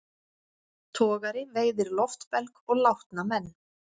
Togari veiðir loftbelg og látna menn